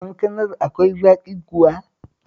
Kankanar akwai zaƙi kuwa?